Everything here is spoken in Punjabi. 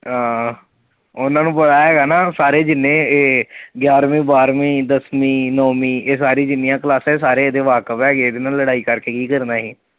ਆਹ ਉਹਨਾਂ ਨੂੰ ਪਤਾ ਹੇਗਾ ਨਾ ਸਾਰੇ ਜਿੰਨੇ ਇਹ ਗਿਆਰਵੀਂ, ਬਾਰ੍ਹਵੀਂ, ਦਸਵੀਂ, ਨੌਵੀਂ ਇਹ ਸਾਰੀ ਜਿੰਨੀਆਂ ਕਲਾਸਾਂ ਹੈ ਇਹ ਸਾਰੇ ਇਹਦੇ ਵਾਕਫ਼ ਹੈਗੇ ਇਹਦੇ ਨਾਲ ਲੜਾਈ ਕਰ ਕੇ ਕਿ ਕਰਨਾ ਅਸੀਂ।